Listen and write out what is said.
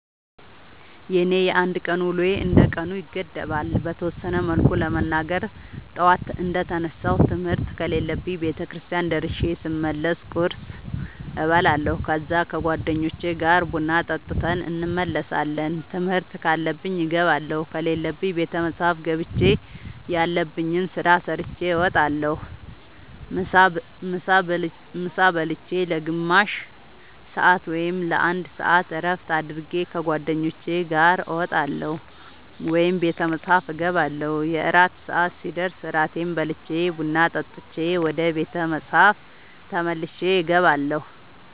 የኔ የአንድ ቀን ውሎዬ እንደ ቀኑ ይገደባል። በተወሰነ መልኩ ለመናገር ጠዋት እንደ ተነሳሁ ትምህርት ከሌለብኝ ቤተክርስቲያን ደርሼ ስመለስ ቁርስ እበላለሁ ከዛ ከ ጓደኞቼ ጋር ቡና ጠጥተን እንመለሳለን ትምህርት ካለብኝ እገባለሁ ከሌለብኝ ቤተ መፅሐፍ ገብቼ ያለብኝን ስራ ሰርቼ እወጣለሁ። ምሳ ብልቼ ለ ግማሽ ሰአት ወይም ለ አንድ ሰአት እረፍት አድርጌ ከ ጓደኞቼ ጋር እወጣለሁ ወይም ቤተ መፅሐፍ እገባለሁ። የእራት ሰአት ሲደርስ እራቴን በልቼ ቡና ጠጥቼ ወደ ቤተ መፅሐፍ ተመልሼ እገባለሁ።